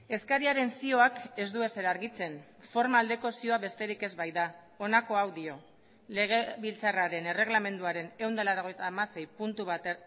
eskariaren zioak ez du ezer argitzen forma aldeko zioa besterik ez baita honako hau dio legebiltzarraren erregelamenduaren ehun eta laurogeita hamasei puntu bat